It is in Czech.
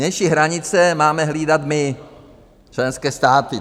Vnější hranice máme hlídat my, členské státy.